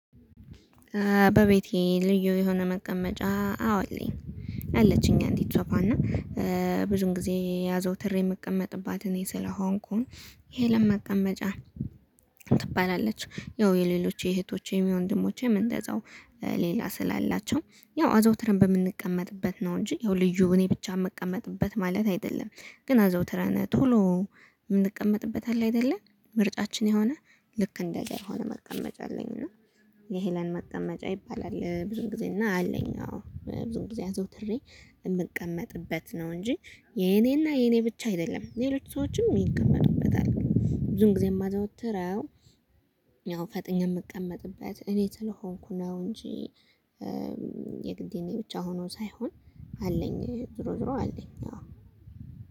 በቤቴ ልዩ የሆነ መቀመጫ አዎ እለኝ አለችኝ አንዲት ሶፋ እና ብዙም ጊዜ አዝወትሬ የምቀመጥባት እኔ ስለሆንኩኝ የሄለን መቀመጫ ትባላለች። ያው የሌሎች የእህቶቼም የወንደሞቼም እሰንደዛው ሌላ ስላላቸው ያው አዘውትርን በምንቀመጥበት ነው እንጂ ያው ልዩ እኔ ብቻ እምቀመጥበት ማለት አይደለም። ግን አዘወትረን ቶሎ እምንቀመጥበት አለ አይደለ ምርጫችን የሆነ ልክ እንደዛ የሆነ መቀመጫ አለኝ። እና የሄለን መቀመጫ ይባላል። ብዙም ጊዜ እና አለኝ አዎ ብዙም ጊዜ አዘወትሬ እምቀመጥበት ነው እንጂ የኔና የኔ ብቻ አይደለም ሌሎች ሰዎችም ይቀመጥበታል። ብዙም ጊዜ የማዘወትረው ፈጠኜ እምቀመጥበት እኔ ስለሆንኩ ነው። እንጂ የግድ የኔ ብቻ ሆኖ ሳይሆን አለኝ ዞሮ ዞሮ አለኝ አዎ።